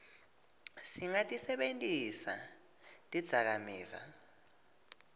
singatisebentisi tidzakamiva